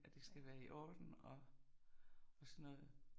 At det skal være i orden og og sådan noget